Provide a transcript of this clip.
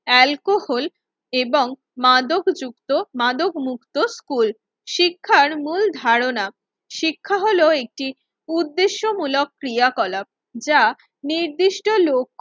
Alcohol এবং মাদক যুক্ত মাদক মুক্ত স্কুল। শিক্ষার মূল ধারণা, শিক্ষা হলো একটি উদ্দেশ্যমূলক ক্রিয়াকলাপ যা নির্দিষ্ট ল